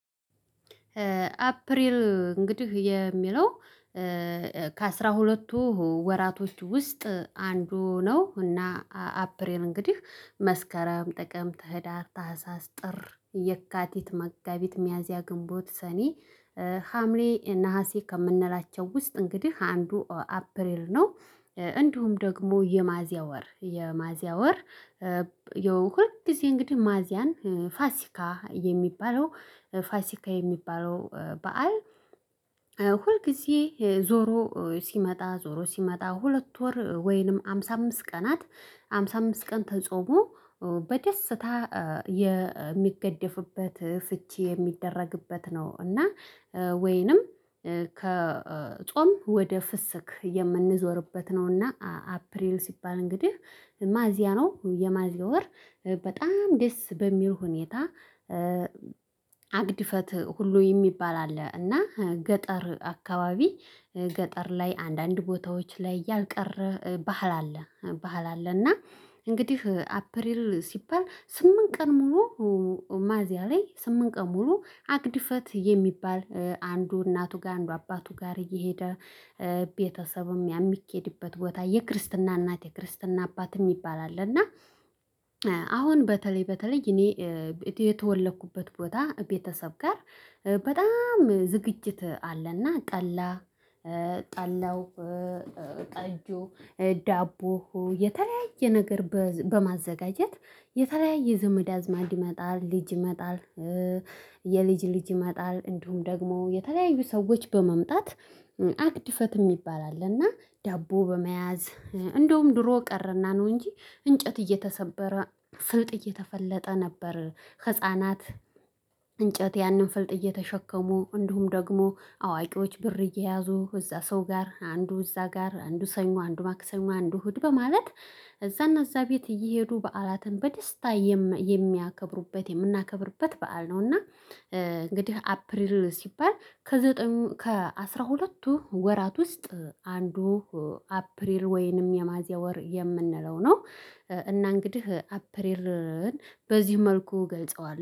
አፕሪል እንግዲህ የሚለው ከአሥራ ሁለትቱ ወራቶች ውስጥ አንዱ ነው። እና አፕሪል እንግዲህ መስከረም ጥቅምት ህዳር ታህሳስ ጥር የካቲት መጋቢት ሚያዝያ ግንቦት ሰኔ ሀምሌ እና ነሀሴ ከምንላቸው ውስጥ እንግዲህ አንዱ አፕሪል ነው። እንዲሁም ደግሞ የሚያዚያ ወር የሚያዚያ ወር ያው ሁልጊዜ እንግዲህ ሚያዚያን ፋሲካ የሚባለው ፋሲካ የሚባለው በዓል። ሁልጊዜ ዞሮ ሲመጣ ዞሮ ሲመጣ ሁለት ወር ወይንም ሃምሳ አምስት ቀናት ሃምሳ አምስት ቀን ተጾሞ በደስታ የሚገደፍበት ፍቺ የሚደረግበት ነው። እና ወይንም ከጾም ወደ ፍስክ የምንዞርበት ነውና። አፕሪል ሲባል እንግዲህ ሚያዚያ ነው የሚያዚያ ወር በጣም ደስ በሚል ሁኔታ። አግድፈት ሁሉ የሚባል አለ እና ገጠር አካባቢ ገጠር ላይ አንዳንድ ቦታዎች ላይ ያልቀረ ባህል አለ። እና እንግዲህ አፕሪል ሲባል ስምንት ቀን ሙሉ ሚያዚያ ላይ ስምንት ቀን ሙሉ አግድፈት የሚባል አንዱ እናቱ ጋር አንዱ አባቱ ጋር እየሄደ ቤተሰብም የሚኬድበት ቦታ የክርስትና እናት የክርስትና አባት የሚባል አለ። እና አሁን በተለይ በተለይ እኔ የተወለኩበት ቦታ ቤተሰብ ጋር በጣም ዝግጅት አለና ጠላ ጠላው ጠጁ ዳቦው የተለያየ ነገር በማዘጋጀት የተለያየ ዘመድ አዝማድ ይመጣል ልጅ ይመጣል። የልጅ ልጅ ይመጣል እንዲሁም ደግሞ የተለያዩ ሰዎች በመምጣት አግድፈት የሚባል አለና ዳቦ በመያዝ እንደውም ድሮ ቀረና ነው። እንጂ እንጨት እየተሰበረ ፍልጥ እየተፈለጠ ነበር። ህፃናት እንጨት ያንን ፍልጥ እየተሸከሙ እንዲሁም ደግሞ አዋቂዎች ብር እየያዙ እዛ ሰው ጋር አንዱ እዛ ጋር አንዱ ሰኞ አንዱ ማክሰኞ አንዱ እሁድ በማለት እዛና እዛ ቤት እየሄዱ በዓላትን በደስታ የሚያከብሩበት የምናከብርበት በዓል ነው። እና እንግዲህ አፕሪል ሲባል ከዘጠኙ ከአስራ ሁለቱ ወራት ውስጥ አንዱ አፕሪል ወይንም የሚያዚያ ወር የምንለው ነው። እና እንግዲህ አፕሪልን በዚህ መልኩ እገልጸዋለሁ